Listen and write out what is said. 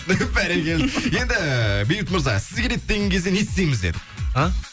бәрекелді енді бейбіт мырза сіз келеді деген кезде не істейміз дедік а